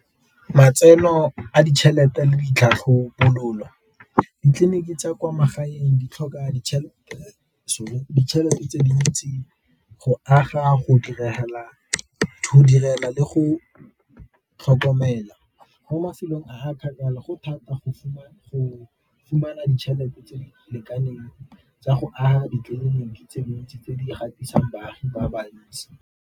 Matseno a ditšhelete le ditlhatlhobololo, ditleliniki tsa kwa magaeng di tlhoka ditšhelete tse dintsi, go aga, go direla le go tlhokomela. Mo mafelong a a kgakala go thata go fumana ditšhelete tse di lekaneng tsa go a ditleliniki tse dintsi tse di baagi ba bantsi.